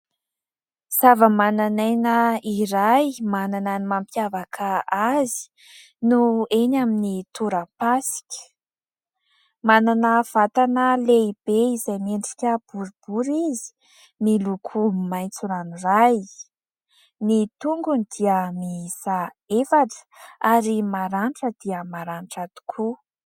sava-mananaina iray manana ny mampiavaka azy no eny amin'ny torapasika manana vatana lehibe izay miendrika boribory izy miloko maintso ranoray ny tongony dia miisa efatra ary maranitra dia maranitra tokoa